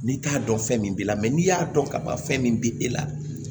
N'i t'a dɔn fɛn min b'i la n'i y'a dɔn ka ban fɛn min bi e la